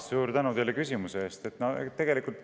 Suur tänu teile küsimuse eest!